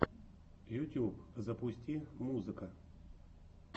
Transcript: ютуб запусти музыка